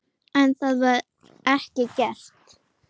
En það var ekki gert.